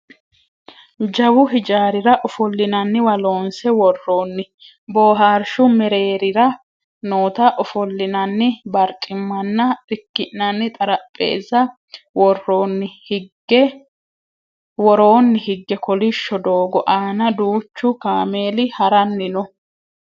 jawu hijaarira ofollinanniwa loonse worroonni boohaarshu mereerira noota ofollinanni barcimmanna irki'nanni xarapheeezza woroonni higge kolishsho doogo aana duuchu kameeli haranni no